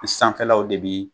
sanfɛlaw de bi